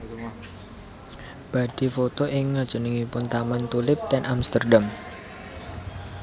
Badhe foto ing ngajengipun taman tulip ten Amsterdam